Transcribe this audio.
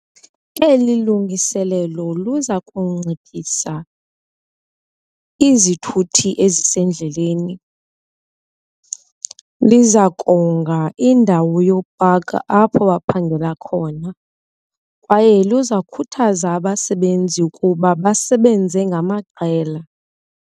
Eli lungiselelo luza kunciphisa izithuthi ezisendleleni, lizakonga indawo yokupaka apho baphangela khona kwaye luza kukhuthaza abasebenzi ukuba basebenze ngamaqela.